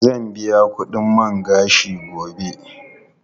Zan biya kudin man gashin gobe.